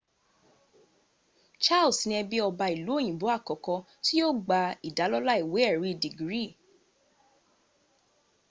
charles ní ẹbí ọba ìlú òyìnbó àkọ́kọ́ tí yóò gba ìdálọ́lá ìwé èrí dègírì